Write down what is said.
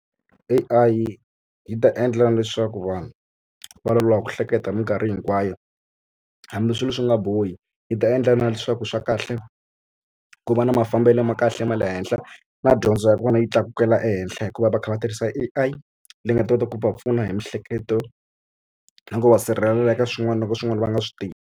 A_I yi ta endla leswaku vanhu va loloha ku hleketa hi mikarhi hinkwayo hambi swilo swi nga bohi yi ta endla na leswaku swa kahle ku va na mafambelo ma kahle ma le henhla na dyondzo ya kona yi tlakukela ehenhla hikuva va kha va tirhisa A_I leyi nga ta kota ku va pfuna hi miehleketo na ku va sirhelela eka swin'wana loko swin'wana va nga swi tivi.